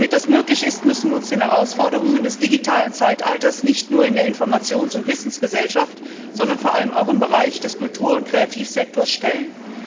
Damit das möglich ist, müssen wir uns den Herausforderungen des digitalen Zeitalters nicht nur in der Informations und Wissensgesellschaft, sondern vor allem auch im Bereich des Kultur und Kreativsektors stellen.